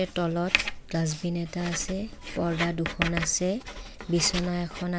তলত ডাচবিন এটা আছে পৰ্দ্দা দুখন আছে বিছনা এখন আ --